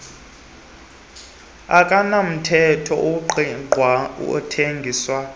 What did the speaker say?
akanamthetho ungqingqwa athengiswa